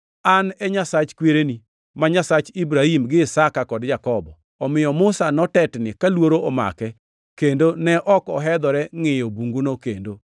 ‘An e Nyasach kwereni; ma Nyasach Ibrahim gi Isaka kod Jakobo.’ + 7:32 \+xt Wuo 3:6\+xt* Omiyo Musa notetni ka luoro omake, kendo ne ok ohedhore ngʼiyo bunguno kendo.